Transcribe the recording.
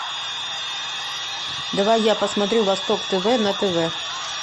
давай я посмотрю восток тв на тв